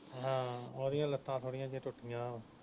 ਹਾ ਉਹਦੀਆਂ ਲੱਤਾਂ ਥੋੜੀਆਂ ਜਿਹੀਆਂ ਟੁੱਟੀਆਂ ਵਾ